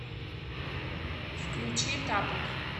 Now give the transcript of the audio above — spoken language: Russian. включи тапок